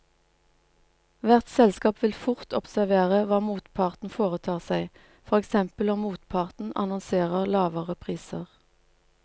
Hvert selskap vil fort observere hva motparten foretar seg, for eksempel om motparten annonserer lavere priser.